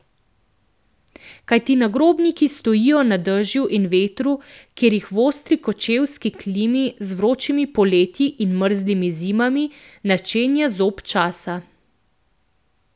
Kajti nagrobniki stojijo na dežju in vetru, kjer jih v ostri kočevski klimi z vročimi poletji in mrzlimi zimami načenja zob časa.